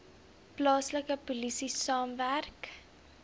plaaslike polisie saamwerk